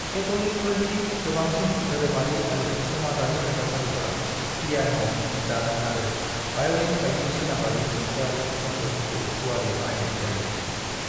कैथोलिकफोरनि गोबांसिन धोरोमारि आरो सामजारि हाबाफारिफोराव पियान', गिटार आरो वायलिन बायदि सोनाबारि देंखोआरि जन्त्र'फोरखौ गुवारै बाहायनाय जायो।